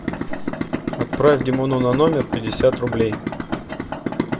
отправь димону на номер пятьдесят рублей